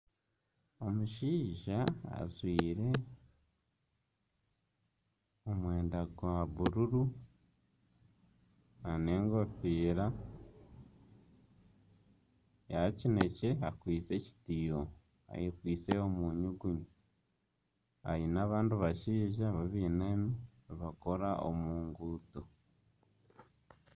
Omushaija ajwaire omwenda gwa bururu nana enkofiira ya kinekye akwaitse ekitiiho ayekwitse omunyugunyu aine abandi bashaija beinami nibakora omu ruguuto